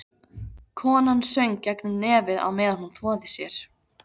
Konan söng gegnum nefið á meðan hún þvoði sér.